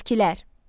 Selevkilər.